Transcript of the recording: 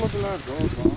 Yəni yıxıla bilərdi orda?